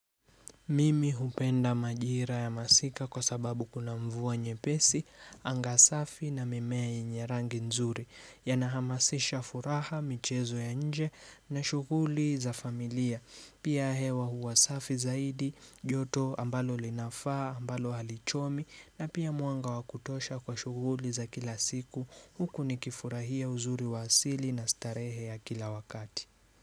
Mimi hupenda majira ya masika kwa sababu kuna mvua nyepesi, anga safi na mimea yenye rangi nzuri, yanahamasisha furaha, michezo ya nje na shughuli za familia. Pia hewa huwa safi zaidi, joto ambalo linafaa, ambalo halichomi na pia mwanga wa kutosha kwa shughuli za kila siku huku nikifurahia uzuri wa asili na starehe ya kila wakati.